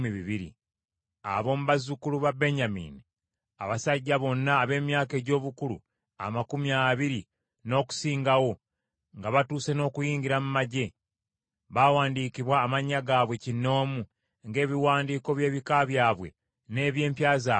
Ab’omu bazzukulu ba Benyamini: Abasajja bonna ab’emyaka egy’obukulu amakumi abiri n’okusingawo, nga batuuse n’okuyingira mu magye, baawandiikibwa amannya gaabwe kinnoomu, ng’ebiwandiiko by’ebika byabwe n’eby’empya zaabwe bwe byali.